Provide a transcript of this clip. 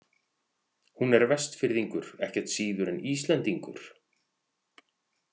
Hún er Vestfirðingur ekkert síður en Íslendingur.